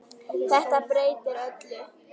Þetta breytir öllu.